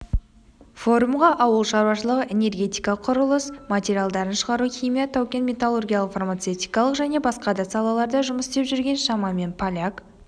форумға ауыл шаруашылығы энергетика құрылыс құрылыс материалдарын шығару химия тау-кен металлургиялық фармацевтикалық және басқа да салаларда жұмыс істеп жүрген шамамен поляк